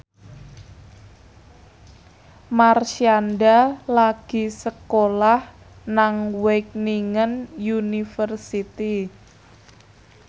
Marshanda lagi sekolah nang Wageningen University